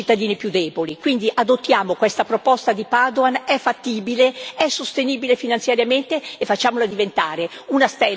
Quindi adottiamo questa proposta di Padoan, è fattibile, è sostenibile finanziariamente e facciamola diventare una stella della politica europea.